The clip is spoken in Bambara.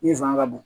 Ni zon ka